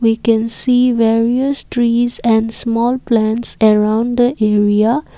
we can see various trees and small plants around the area.